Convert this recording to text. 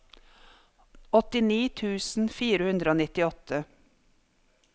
åttini tusen fire hundre og nittiåtte